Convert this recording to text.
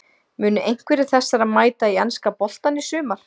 Munu einhverjir þessara mæta í enska boltann í sumar?